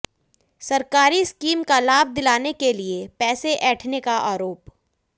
सरकारी स्कीम का लाभ दिलाने के लिए पैसे ऐंठने का आरोप